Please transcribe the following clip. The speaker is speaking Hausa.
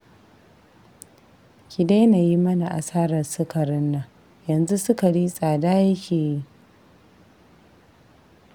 Ki daina yi mana asarar sukarin nan, yanzu sukari tsada yake yi